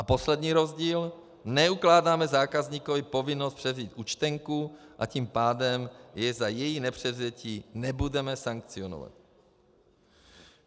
A poslední rozdíl: neukládáme zákazníkovi povinnost převzít účtenku, a tím pádem jej za její nepřevzetí nebudeme sankcionovat.